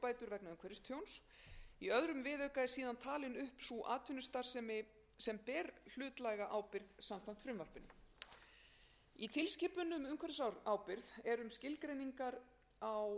umhverfistjóns í öðrum viðauka eru síðan talin upp sú atvinnustarfsemi sem ber hlutlæga ábyrgð samkvæmt frumvarpinu í tilskipun um umhverfisábyrgð er um skilgreiningar á vernduðum tegundum